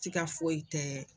si ka foyi tɛ